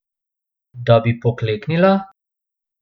Da bi pokleknila?